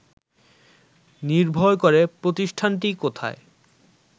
নির্ভর করে প্রতিষ্ঠানটি কোথায়